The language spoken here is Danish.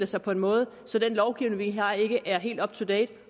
sig på en måde så den lovgivning vi har ikke er helt up to date